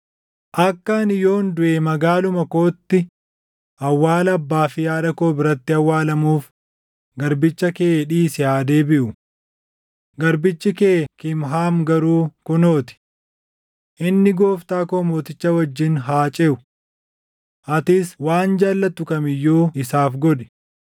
Akka ani yoon duʼe magaaluma kootti awwaala abbaa fi haadha koo biratti awwaalamuuf garbicha kee dhiisi haa deebiʼu. Garbichi kee Kimhaam garuu kunoo ti. Inni gooftaa koo mooticha wajjin haa ceʼu. Atis waan jaallattu kam iyyuu isaaf godhi.”